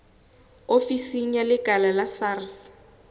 ofisi ya lekala la sars